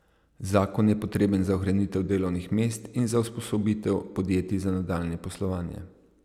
Zakon je potreben za ohranitev delovnih mest in za usposobitev podjetij za nadaljnje poslovanje.